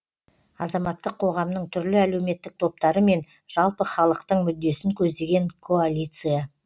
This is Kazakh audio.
азаматтық қоғамның түрлі әлеуметтік топтары мен жалпы халықтың мүддесін көздеген коалиция